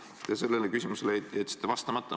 Te sellele küsimusele jätsite vastamata.